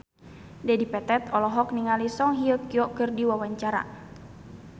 Dedi Petet olohok ningali Song Hye Kyo keur diwawancara